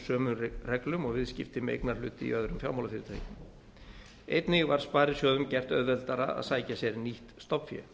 sömu reglum og viðskipti með eignarhluti í öðrum fjármálafyrirtækjum einnig var sparisjóðum gert auðveldara að sækja sér nýtt stofnfé